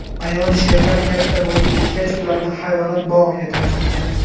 Ayol sherlar katta bo‘lib ketgach, ularni hayvonot bog‘iga topshirgan.